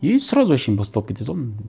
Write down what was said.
и сразу әншейін бастап кете салдым